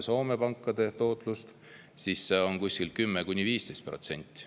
Soome pankade tootlus on kuskil 10–15%.